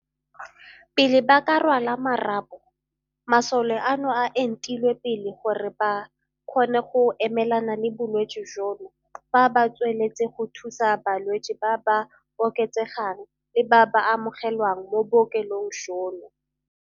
Pele ba ka rwala marapo, masole ano a entilwe pele gore ba kgone go emelana le bolwetse jono fa ba tsweletse go thusa balwetse ba ba oketsegang le ba ba amoge lwang mo bookelong jono.